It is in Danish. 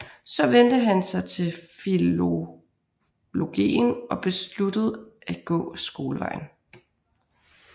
Så vendte han sig til filologien og besluttede at gå skolevejen